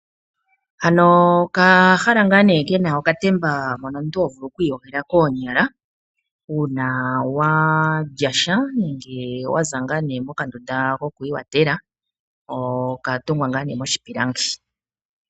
Ano okahala ngaa nee kena okatemba mono omuntu hovulu okwiiyoga koonyala uuna walyasha, nenge waza ngaa nee mokandunda ko kwiikwathela. okatungwa ngaa nee moshipilangi.